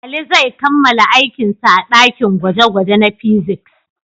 Ali zai kammala aikinsa a dakin gwaje-gwaje na fiziks.